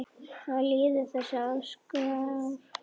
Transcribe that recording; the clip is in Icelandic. Svo liðu þessi æskuár.